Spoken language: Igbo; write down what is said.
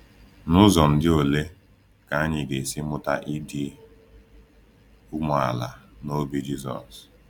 N’ụzọ ndị olee ka anyị ga-esi mụta ịdị umeala n’obi Jisọs?